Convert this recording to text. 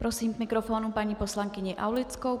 Prosím k mikrofonu paní poslankyni Aulickou.